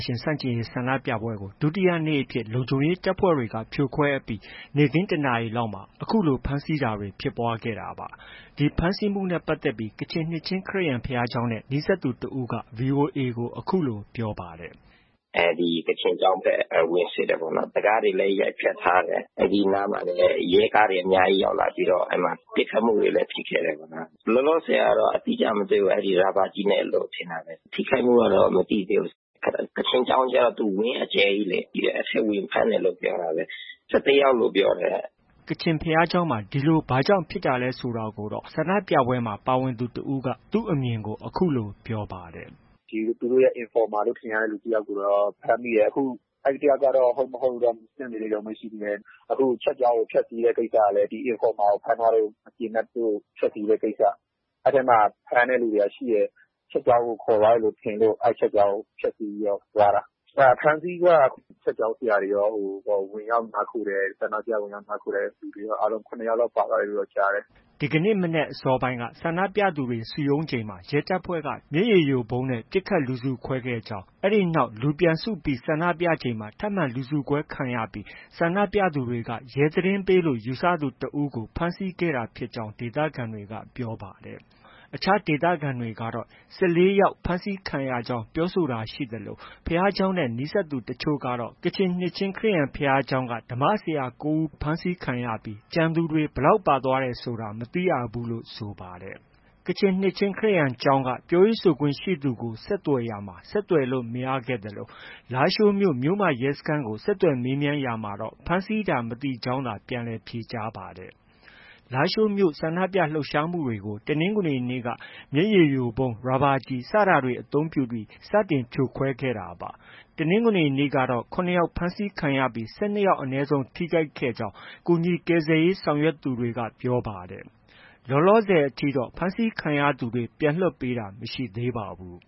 ရှင် ဆန့်ကျင်ရေး ဆန္ဒပြပွဲကို ဒုတိယနေ့အဖြစ် လုံခြုံရေးတပ်ဖွဲ့တွေက ဖြိုခွဲအပြီး နေ့ခင်း ၁ နာရီလောက်မှာ အခုလို ဖမ်းဆီးတာတွေ ဖြစ်ပွားခဲ့တာပါ။ ဒီဖမ်းဆီးမှုနဲ့ ပတ်သက်ပြီး ကချင်နှစ်ချင်းခရစ်ယာန် ဘုရားကျောင်းနဲ့ နီးစပ်သူတစ်ဦးက ဗွီအိုအေကို အခုလို ပြောပါတယ်။ “ဒီကချင်ကျောင်းဘက် ဝင်စစ်တယ်ပေါ့နော်။ တံခါးတွေလည်း ရိုက်ဖျက်ထားတယ်။ အဲဒီနားမှာ ရဲကားတွေလည်း အများကြီး ရောက်လာပြီးတော့ ပစ်ခတ်မှုတွေလည်း ဖြစ်ခဲ့တယ်ခင်ဗျ။ လောလောဆယ်ကတော့ အတိအကျ မသိရဘူး။ ရာဘာကျည်နဲ့လို့ ထင်တာပဲ။ ထိခိုက်မှုကတော့ မသိသေးဘူး။ ကချင်ကျောင်းကျတော့ သူ့ဝန်းအကျယ်ကြီးလေ။ အဲဒီထဲ ဝင်ဖမ်းတယ်လို့ ပြောတာပဲ။ ၁၁ ယောက် လို့ ပြောတယ်။” ကချင်ဘုရားကျောင်းမှာ ဒီလို ဘာကြောင့် ဖမ်းဆီးတာလဲဆိုတာကိုတော့ ဆန္ဒပြပွဲမှာ ပါဝင်သူတစ်ဦးက သူ့အမြင်ကို အခုလို ပြောပါတယ်။ “သူတို့ရဲ့ Informer လို့ ထင်ရတဲ့ သူတစ်ယောက်ကိုတော့ ဖမ်းမိတယ်။ အဲဒီတစ်ယောက်ကတော့ ဟုတ်၊ မဟုတ်တော့ စစ်နေတုန်းပဲ ရှိသေးတယ်။ အခု ဒီ Church ကျောင်းကို ဖျက်ဆီးတဲ့ ကိစ္စကလည်း ဒီ Informer ကို ဖမ်းထားလို့ မကျေနပ်လို့ ဖမ်းထားတဲ့ ကိစ္စ၊ အဲဒီထဲမှာ ဖမ်းတဲ့ လူတွေက ရှိတယ်။ Church ကျောင်းကို ခေါ်သွားတယ်ထင်လို့ အဲဒီ Church ကျောင်းကို ဖျက်ဆီးပြီးတော့ သွားတာ။ အဖမ်းအဆီးက Church ကျောင်းဆရာတွေရော၊ ဆန္ဒပြ ဝင်ရောက်နားခိုတဲ့လူတွေရော အားလုံးပေါင်း ၇ ယောက်လောက် ပါသွားတယ်လို့တော့ ကြားတယ်။” ဒီနေ့ မနက် အစောပိုင်းက ဆန္ဒပြသူတွေ စုရုံးစဉ်မှာ ရဲတပ်ဖွဲ့က မျက်ရည်ယိုဗုံးနဲ့ ပစ်ခတ်လူစုခွဲခဲ့ကြောင်း၊ အဲဒီနောက်မှာ လူပြန်စုပြီးဆန္ဒပြချိန်မှာ ထပ်မံလူစုခွဲခံခဲ့ရပြီး ဆန္ဒပြသူတွေက ရဲသတင်းပေးလို့ ယူဆသူတစ်ဦးကို ဖမ်းဆီးခဲ့တာဖြစ်ကြောင်း ဒေသခံတွေက ပြောပါတယ်။ အခြားဒေသခံတွေကတော့ ၁၄ ယောက် ဖမ်းဆီးခံရကြောင်းပြောဆိုတာ ရှိသလို ဘုရားကျောင်းနဲ့ နီးစပ်သူတချို့ကတော့ ကချင်နှစ်ချင်းခရစ်ယာန်ကျောင်းက ဓမ္မဆရာ ၉ ယောက် ဖမ်းဆီးခံရပြီး ကျန်သူတွေ ဘယ်လောက်ပါသွားတယ်ဆိုတာတော့ မသိရဘူးလို့ ဆိုပါတယ်။ ကချင်နှစ်ချင်းခရစ်ယာန်ကျောင်းက ပြောရေးဆိုခွင့်ရှိသူကို ဆက်သွယ်ရာမှာ ဆက်သွယ်လို့ မရခဲ့သလို လားရှိုးမြို့ မြို့မ ရဲစခန်းကို ဆက်သွယ်မေးမြန်းရာမှာတော့ ဖမ်းဆီးတာ မသိကြောင်းသာ ပြန်လည် ဖြေကြားပါတယ်။ လားရှိုးမြို့ ဆန္ဒပြလှုပ်ရှားမှုတွေကို တနင်္ဂနွေနေ့က မျက်ရည်ယိုဗုံး၊ ရာဘာကျည်စတာတွေ အသုံးပြုပြီး စတင် ဖြိုခွဲခဲ့တာပါ။ တနင်္ဂနွေနေ့ကတော့ ၇ ယောက် ဖမ်းဆီးခံရပြီး လူ ၁၂ ယောက်အနည်းဆုံး ထိခိုက်ခံရကြောင်း ကူညီကယ်ဆယ်ရေးဆောင်ရွက်သူတွေက ပြောပါတယ်။ လောလောဆယ် ဖမ်းဆီးခံရသူတွေ ပြန်လည်လွှတ်ပေးတာတော့ မရှိသေးပါဘူး